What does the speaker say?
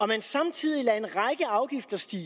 man samtidig lader en række afgifter stige